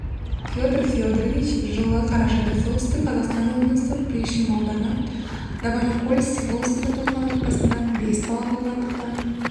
петр федорович жылы қарашада солтүстік қазақстан облысы приишим ауданы новоникольск селосында туылған отбасында бес бала болғандықтан